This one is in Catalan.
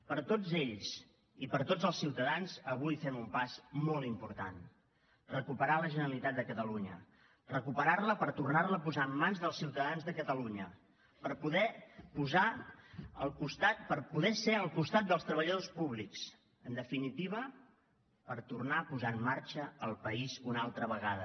per tots ells i per tots els ciutadans avui fem un pas molt important recuperar la generalitat de catalunya recuperar la per tornar la a posar en mans dels ciutadans de catalunya per poder ser al costat dels treballadors públics en definitiva per tornar a posar en marxa el país una altra vegada